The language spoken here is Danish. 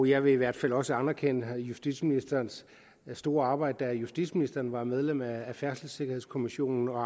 jeg vil i hvert fald også anerkende justitsministerens store arbejde da justitsministeren var medlem af færdselssikkerhedskommissionen og